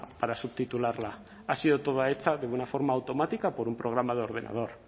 para subtitularla ha sido toda hecha de una forma automática por un programa de ordenador